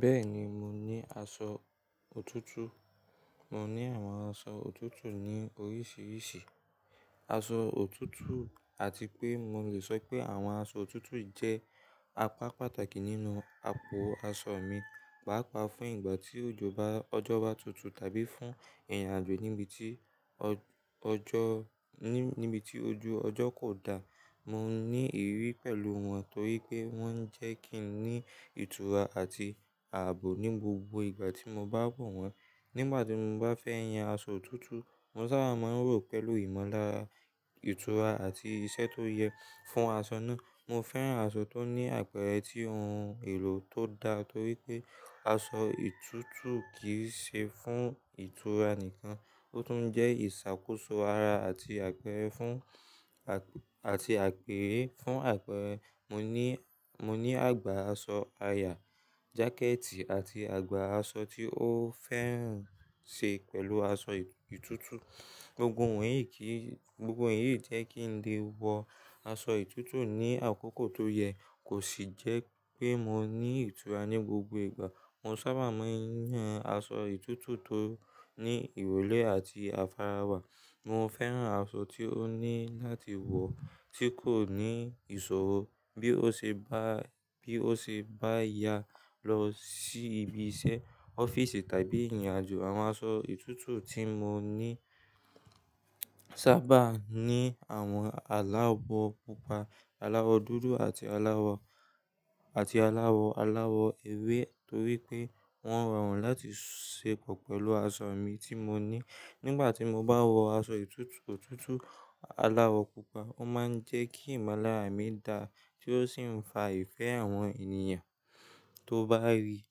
Bẹ́ẹ̀ ni, mo ní aṣọ òtútù. Mo ní àwọn aṣọ òtútù ní oríṣiríṣi aṣọ òtútù àti pé mo lè sọ pé àwọn aṣọ òtútù jẹ́ apá pàtàkì nínú apó aṣọ mi, pàápàá fún ìgbà tí ojú ọjọ́ bá tutù tàbí fún ìrìnàjò níbi tí ọjọ́, ní, níbi tí ojú ọjọ́ kò dá. Mo ní ìrírí pẹ̀lú wọn torí pé wọ́n jẹ́ kí n ní ìtura àti ààbò ní gbogbo ìgbà tí mo bá wọ̀ wọ́n. Nígbà tí mo bá fẹ́ yan aṣọ òtútù, mo sábà máa ń rò pẹ̀lú ìmọlára, ìtura àti iṣẹ́ tó yẹ fún aṣọ náà. Mo fẹ́ran aṣọ tó ní àpẹẹrẹ tí ohun èlò tó da torí pé aṣọ ìtútù kì í ṣe fún ìtura nìkan, ó tún jẹ́ ìṣàkóso ara àti àpẹẹrẹ fún, àti àpèré fún àpẹẹrẹ. Mo ní, mo ní àgbà aṣọ aya, jákẹ́ẹ̀tì àti àgbà aṣọ tí ó fẹ́ràn ṣe pẹ̀lú aṣọ ìtútù. Gbogbo wọ̀nyí kì í, gbogbo wọ̀nyí jẹ́ kí n lè wọ aṣọ ìtútù ní àkókò tó yẹ kó sì jẹ́ pé mo ní ìtura ní gbogbo ìgbà. Mo sábà máa ń yan aṣọ ìtútù tó ní ìróle àti àfarawa. Mo fẹ́ran aṣọ tí ó ní láti wọ̀ tí kò ní ìṣòro bí ó ṣe bá, bí ó ṣe bá ya lọ sí ibi iṣẹ́, ọ́fíìsì tàbí ìrìnàjò. Àwọn aṣọ ìtútù tí mo ní sábà ní àwọn aláwọ̀ púpà, aláwọ̀ dúdú àti aláwọ̀, àti aláwọ̀ aláwọ̀ ewé torí pé wọ́n rọrùn láti ṣe pọ̀ pẹ̀lú aṣọ mi tí mo ní. Nígbà tí mo bá wọ aṣọ ìtútù, òtútù aláwọ̀ púpà, ó máa ń jẹ́ kí ìmọ́lára mi dà tí ó sì ń fa ìfẹ́ àwọn ènìyàn tó bá rí i.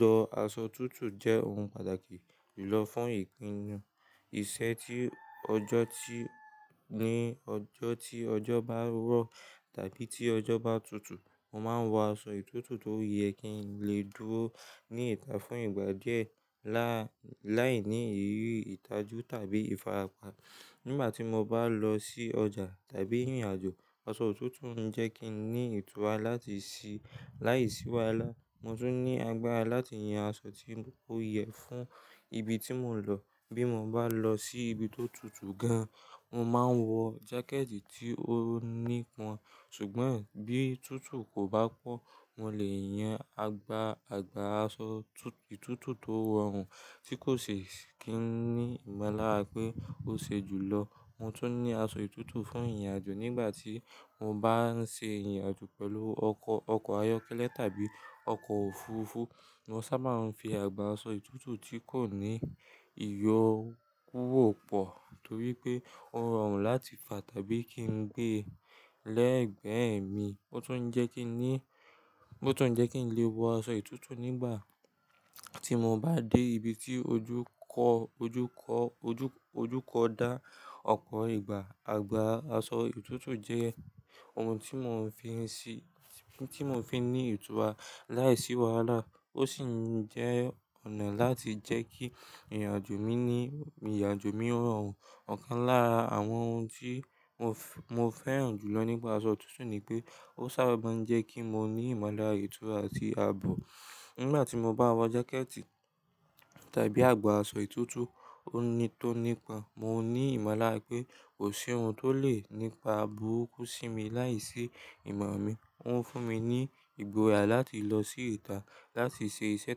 Lọ aṣọ òtútù jẹ́ ohun pàtàkì jùlọ fún ìpinnu iṣẹ́ tí ọjọ́ tí, ní ọjọ́ tí ọjọ́ bá rọ̀ tàbí tí ọjọ́ bá tutù. Mo máa ń wọ aṣọ òtútù tó yẹ kí n lè dúró ní ìta fún ìgbà díẹ̀ láì, láìní ìrírí ìtajú tàbí ìfarapa. Nígbà tí mo bá lọ sí ọjà tàbí ìrìnàjò, aṣọ òtútù ń jẹ́ kí n ní ìtura láti ṣí láìsí wàhálà. Mo tún ní agbára láti yan aṣọ tí ó yẹ fún ibi tí mò ń lọ. Bí mo bá lọ sí ibi tó tutù gan, mo máa ń wọ jákẹ́ẹ̀tì tí ó nípọn. Ṣùgbọ́n bí tutù kò bá pọ̀, mo lè yan àgbà, àgbà aṣọ ìtútù tó rọrùn tí kò ṣe kí n ní ìmọ̀lára pé ó ṣe jùlọ. Mo tún ní aṣọ ìtútù fún ìrìnàjò. Nígbà tí mo bá ń ṣe ìrìnàjò pẹ̀lú ọkọ̀, ọkọ̀ ayọ́kẹ́lẹ́ tàbí ọkọ̀ òfuurufú, mo sábà ń fi àgbà aṣọ ìtútù tí kò ní iyọ̀ kúrò pọ̀ torí pé ó rọrùn láti fà tàbí kí n gbé lẹ́gbẹ̀ẹ́ mi. Ó tún ń jẹ́ kí n ní, ó tún ń jẹ́ kí n lè wọ aṣọ ìtútù nígbà tí mo bá dé ibi tí ojú kọ́, ojú kọ́, ojú, ojú kọ́ dá ọkọ̀ ìgbà. Àgbà aṣọ òtútù jẹ́ ohun tí mò ń fi ń ṣí, tí mò ń fi ní ìtura láìsí wàhálà. Ó sì ń jẹ́ ọ̀nà láti jẹ́ kí ìrìnàjò mi ní, ìrìnàjò mi rọrùn. Ọ̀kan lára àwọn ohun tí mo fẹ́, mo fẹ́ran jùlọ nípa aṣọ òtútù ni pé ó sábà máa ń jẹ́ kí mo ní ìmọ̀lára ìtura àti àbò. Nígbà tí mo bá wọ jákẹ́ẹ̀tì tàbí àgbà aṣọ itútù tó nípọn, mo ní ìmọ̀lára pé kò sí ohun tó le nípa burúkú sí mi láìsí ìmọ̀ mi. Ó ń fún mi ní ìgboyà láti lọ sí ìta láti ṣe iṣẹ́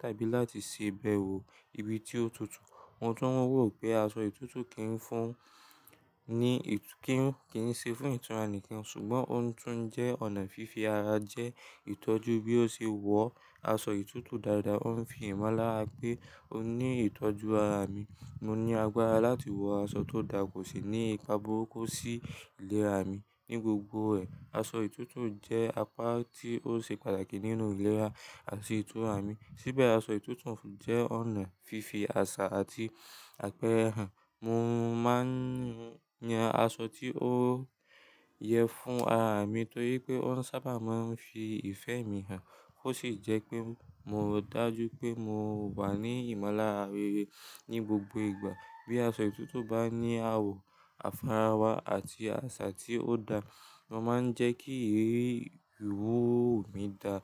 tàbí láti ṣèbẹ̀wò ibi tí ó tutù. Mo tún rò pé aṣọ itútù kì í fún, ní ìtú, kì í, kì í ṣe fún ìtura nìkan ṣùgbọ́n ó tún jẹ́ ọ̀nà fífi ara jẹ́ ìtọ́jú bí ó ṣe wọ̀ aṣọ itútù dáradára. Ó ń fi ìmọ̀lára pé ó ní ìtọ́jú ara mi. Mo ní agbára láti wọ aṣọ tó dà, kò sì ní ipa burúkú sí ìlera mi. Ní gbogbo ẹ̀, aṣọ òtútù jẹ́ apá tí ó ṣe pàtàkì nínú ìlera àti ìtura mi. Síbẹ̀ aṣọ òtútù jẹ́ ọ̀nà fífi àṣà àti àpẹẹrẹ hàn. Mo máa ń yan aṣọ tí ó yẹ fún ara mi torí pé ó sábà máa ń fi ìfẹ́ mi hàn. Ó sì jẹ́ pé mo dájú pé mo wà ní ìmọ̀lára rere ní gbogbo ìgbà. Bí aṣọ òtútù bá ní àwọ̀ àfarawa àti àṣà tí ó dà, wọn máa ń jẹ́ kí ìwúwo mi dà.